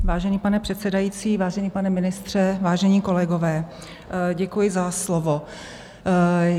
Vážený pane předsedající, vážený pane ministře, vážení kolegové, děkuji za slovo.